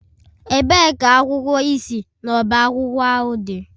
Ebee ka akwụkwọ ị si n'ọba akwụkwọ ahụ dị?